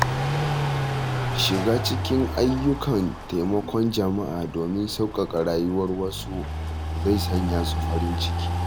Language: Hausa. Shiga cikin ayyukan taimakon jama’a domin sauƙaƙa rayuwar wasu zai sanya su farin ciki.